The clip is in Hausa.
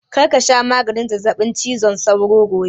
Kar ka sha maganin zazzaɓin cizon sauron gobe!